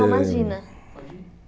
Não, imagina.